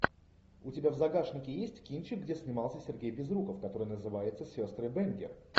у тебя в загашнике есть кинчик где снимался сергей безруков который называется сестры бэнгер